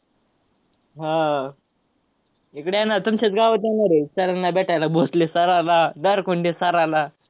हा. इकडे येणा~ तुमच्याच गावात येणार आहेत sir ना भेटायला, भोसले sir ना, नारकुंडे sir ला.